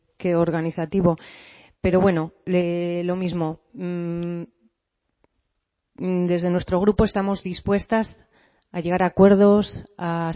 que organizativo pero bueno lo mismo desde nuestro grupo estamos dispuestas a llegar a acuerdos a